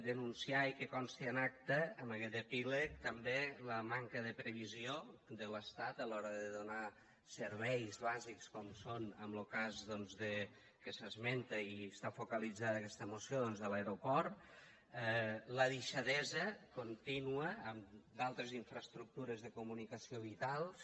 denunciar i que consti en acta en aquest epíleg també la manca de previsió de l’estat a l’hora de donar serveis bàsics com són en lo cas doncs que s’esmenta i està focalitzada aquesta moció doncs de l’aeroport la deixadesa contínua en d’altres infraestructures de comunicació vitals